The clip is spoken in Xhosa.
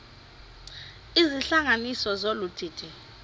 izihlanganisi zolu didi